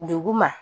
Dugu ma